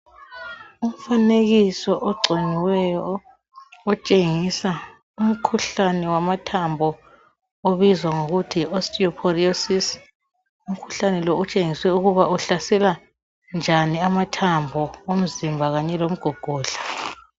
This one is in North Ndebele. Umfanekiso ogciniweyo otshengisa umkhuhlane wamathambo obizwa ngokuthi Yi osteoporosis. Umkhuhlane lo utshengiswe ukuba uhlasela njani amathambo omzimba kanye lomgogodla